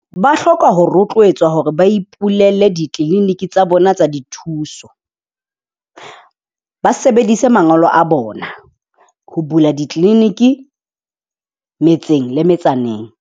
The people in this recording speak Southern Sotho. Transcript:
Ba hloka ho rotlwetswa hore ba ipulele di-clinic tsa bona tsa dithuso, ba sebedise mangolo a bona ho bula di-clinic metseng le metsaneng.